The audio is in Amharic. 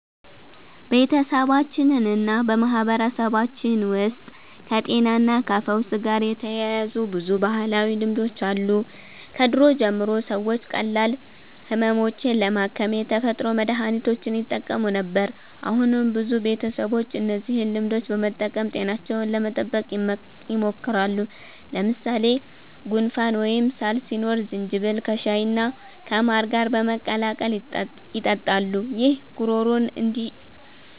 በቤተሰባችንና በማህበረሰባችን ውስጥ ከጤናና ከፈውስ ጋር የተያያዙ ብዙ ባህላዊ ልማዶች አሉ። ከድሮ ጀምሮ ሰዎች ቀላል ህመሞችን ለማከም የተፈጥሮ መድሀኒቶችን ይጠቀሙ ነበር። አሁንም ብዙ ቤተሰቦች እነዚህን ልማዶች በመጠቀም ጤናቸውን ለመጠበቅ ይሞክራሉ። ለምሳሌ ጉንፋን ወይም ሳል ሲኖር ዝንጅብል ከሻይና ከማር ጋር በመቀላቀል ይጠጣሉ። ይህ ጉሮሮን